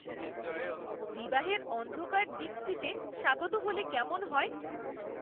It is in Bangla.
"বিবাহের অন্ধকার দিকটিতে স্বাগত" হলে কেমন হয়?